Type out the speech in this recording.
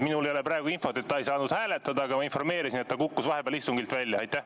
Mul ei ole praegu infot, et Kert Kingo ei saanud hääletada, aga ma informeerisin, et ta kukkus vahepeal istungilt välja.